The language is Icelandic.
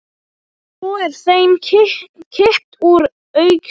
Svo er þeim kippt úr augsýn.